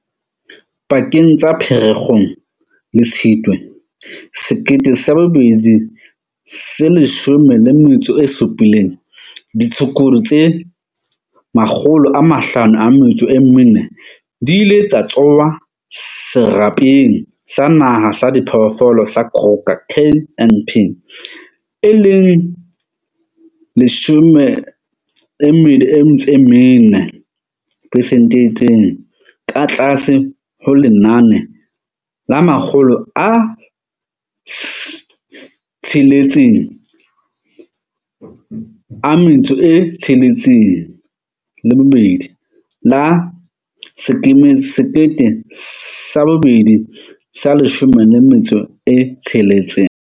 Pakeng tsa Pherekgong le Tshitwe 2017, ditshukudu tse 504 di ile tsa tsongwa serapeng sa naha sa diphoofolo sa Kruger KNP, e leng 24 percent e itseng ka tlase ho lenane la 662 la 2016.